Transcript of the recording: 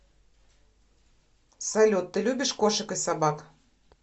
салют ты любишь кошек и собак